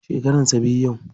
Shekaran sa biyu yau.